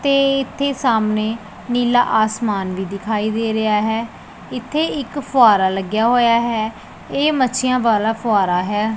ਤੇ ਇਥੇ ਸਾਹਮਣੇ ਨੀਲਾ ਆਸਮਾਨ ਵੀ ਦਿਖਾਈ ਦੇ ਰਿਹਾ ਹੈ ਇਥੇ ਇੱਕ ਫੁਆਰਾ ਲੱਗਿਆ ਹੋਇਆ ਹੈ ਇਹ ਮੱਸੀਆਂ ਵਾਲਾ ਫੁਆਰਾ ਹੈ।